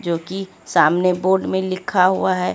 जो की सामने बोर्ड में लिखा हुआ है।